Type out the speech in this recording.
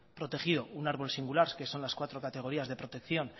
protegido un árbol singular que son las cuatro categorías de protección